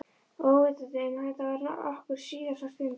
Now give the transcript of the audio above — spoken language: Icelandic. Óvitandi um að þetta var okkar síðasta stund.